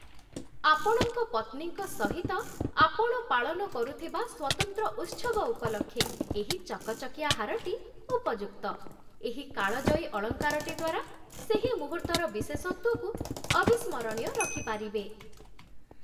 ଆପଣଙ୍କ ପତ୍ନୀଙ୍କ ସହିତ ଆପଣ ପାଳନ କରୁଥିବା ସ୍ୱତନ୍ତ୍ର ଉତ୍ସବ ଉପଲକ୍ଷେ ଏହି ଚକଚକିଆ ହାରଟି ଉପଯୁକ୍ତ, ଏହି କାଳଜୟୀ ଅଳଙ୍କାରଟି ଦ୍ଵାରା ସେହି ମୁହୂର୍ତ୍ତର ବିଶେଷତ୍ଵକୁ ଅବିସ୍ମରଣୀୟ ରଖିପାରିବେ।